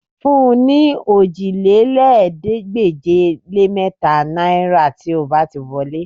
Fún un ní òjìlélẹ́ẹ̀ẹ́dégbèje-lé-mẹ́ta náìrà tí ó bá ti wọlé